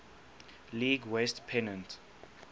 league west pennant